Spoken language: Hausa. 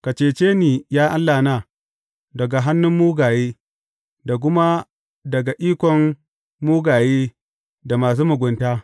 Ka cece ni, ya Allahna, daga hannun mugaye, da kuma daga ikon mugaye da masu mugunta.